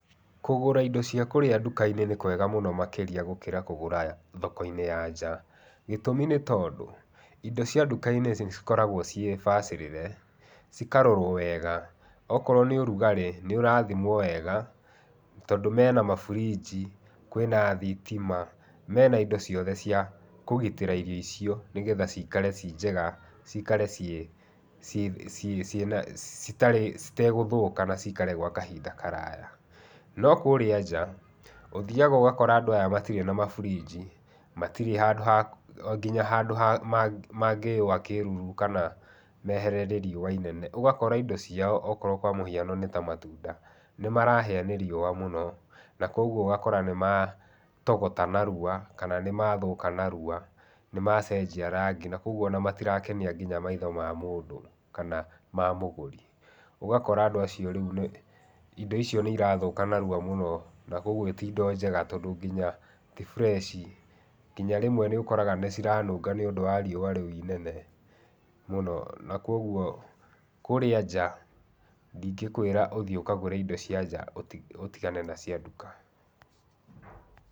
Kũgũra indo cia kũrĩa nduka-inĩ nĩ kwega mũno makĩria gũkĩra kũgũra thoko-inĩ ya nja, gĩtũmi nĩ tondũ, indo cia nduka-inĩ nĩ cikoragwo ciĩ bacĩrĩre, cikarorwo wega, okorwo nĩ ũrugarĩ nĩ ũrathimwo wega tondũ mena maburiji, kwĩna thitima, mena indo ciothe cia kũgitĩra irio icio nĩgetha cikare ciĩ njega, cikare citegũthũka na cikare gwa kahinda karaya. No kũrĩa nja, ũthiaga ũgakora andũ aya matirĩ na maburinji, matirĩ nginya handũ mangĩyũwa kĩruru kana meherere riũa inene, ũgakora indo ciao okorwo kwa mũhiano nĩ ta matunda, nĩ marahĩa nĩ riũa mũno na kũguo ũgakora nĩmatogota narua kana nĩ mathũka narua, nĩmacenjia rangi na kũguo o na matirakenia nginya maitho ma mũndũ kana ma mũgũri. Ũgakora andũ acio rĩu indo icio nĩ irathũka narua mũno na kũguo ti indo njega tondũ nginya ti fresh nginya rĩmwe nĩ ũkoraga nĩ ciranunga nĩ ũndũ wa riũa rĩu inene mũno na kũguo kũrĩa nja, ndingĩkwĩra ũthiĩ ũkagũre indo cia nja ũtigane na cia nduka.